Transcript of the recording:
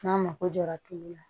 N'a mako jɔra tulu la